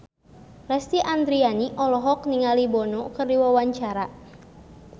Lesti Andryani olohok ningali Bono keur diwawancara